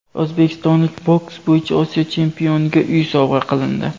O‘zbekistonlik boks bo‘yicha Osiyo chempioniga uy sovg‘a qilindi.